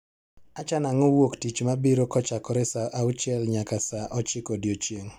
achano ango wuok tich mabiro kochakre saa auchiel nyaka saa ochiko odiochieng